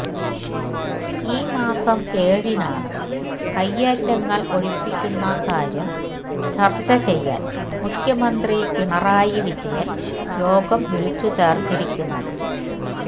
ഈ മാസം ഏഴിനാണ് കൈയ്യേറ്റങ്ങൾ ഒഴിപ്പിക്കുന്ന കാര്യം ചർച്ച ചെയ്യാൻ മുഖ്യമന്ത്രി പിണറായി വിജയൻ യോഗം വിളിച്ചു ചേർത്തിരിക്കുന്നത്